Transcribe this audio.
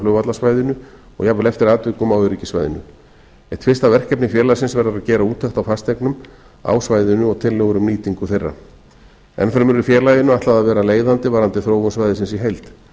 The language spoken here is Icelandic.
flugvallarsvæðinu og eftir atvikum á öryggissvæðinu eitt fyrsta verkefni félagsins verður að gera úttekt á fasteignum á svæðinu og tillögur um nýtingu þeirra enn fremur er félaginu ætlað að vera leiðandi varðandi þróun svæðisins í heild